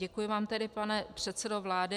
Děkuji vám tedy, pane předsedo vlády.